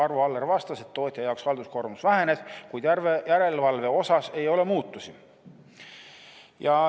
Arvo Aller vastas, et tootja jaoks halduskoormus väheneb, kuid järelevalve osas ei ole muutusi.